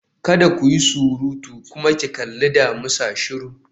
Kada ku yi surutu! kuma ki kalli damisa shiru